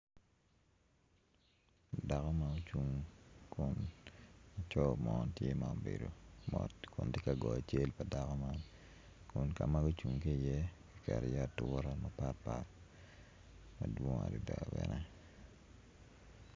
Dako ma ocung kun laco mo tye ma obedo mot kun tye ka goyo cal pa dako man kun kama gucung ki iye ki keto iye ature mapatpat madwong adada bene